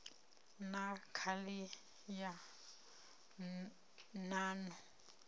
na khali ya nan o